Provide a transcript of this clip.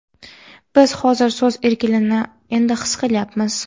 Biz hozir so‘z erkinligini endi his qilyapmiz.